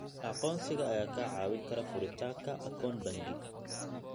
Aqoonsiga ayaa kaa caawin kara furitaanka akoon bangi.